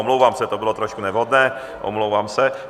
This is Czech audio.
Omlouvám se, to bylo trošku nevhodné, omlouvám se.